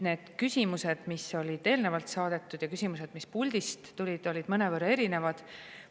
Need küsimused, mis olid eelnevalt saadetud, ja küsimused, mis puldist, olid mõnevõrra erinevad.